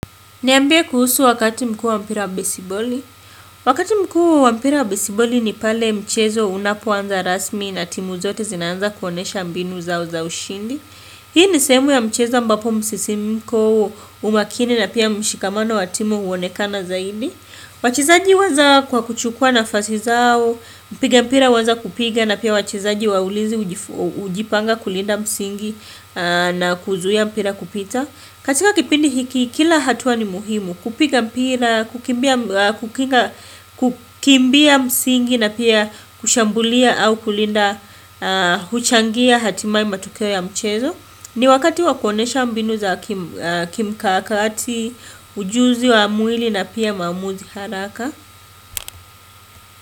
Niambie kuhusu wakati mkuu wa mpira wa besiboli. Wakati mkuu wa mpira wa besiboli ni pale mchezo unapoanza rasmi na timu zote zinaanza kuonyesha mbinu zao zao ushindi. Hii ni sehemu ya mchezo ambapo msisimiko, umakini na pia mshikamano wa timu huonekana zaidi. Wachezaji huanza kwa kuchukua nafasi zao. Mpiga mpira huanza kupiga na pia wachezaji wa ulinzi hujipanga kulinda msingi. Na kuzuia mpira kupita. Katika kipindi hiki kila hatua ni muhimu. Kupiga mpira, kukimbia msingi na pia kushambulia au kulinda huchangia hatimaye matokeo ya mchezo ni wakati wa kuonyesha mbinu za kimkakati, ujuzi wa mwili na pia maamuzi haraka.